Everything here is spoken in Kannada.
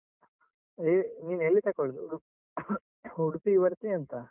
ನೀ ನೀನೆಲ್ಲಿ ತಗೊಳ್ಳುದು? ಉಡುಪಿಗೆ ಬರ್ತೀಯ ಎಂತ?